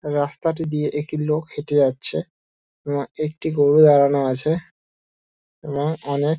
রাস্তাটি দিয়ে একটি লোক হেঁটে যাচ্ছে এবং একটি গরু দাঁড়ানো আছে এবং অনেক--